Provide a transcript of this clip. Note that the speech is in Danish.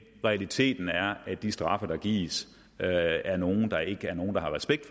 realiteten er at de straffe der gives er er nogle der ikke er nogen der har respekt